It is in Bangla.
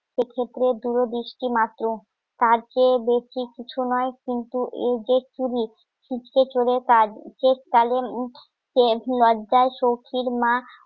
এক্ষেত্রে দূরদৃষ্টিমাত্র তার চেয়ে বেশি কিছু নয় কিন্তু এই জে চুরি ছিচকে চোরের কাজ লজ্জায় সৌখির মা